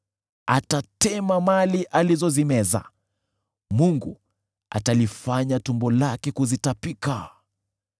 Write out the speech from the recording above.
Atatema mali alizozimeza; Mungu atalifanya tumbo lake kuzitapika.